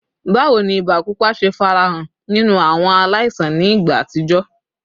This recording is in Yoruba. Bawo ni iba pupa ṣe farahan ninu awọn alaisan ni igba atijọ?